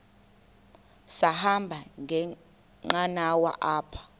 sahamba ngenqanawa apha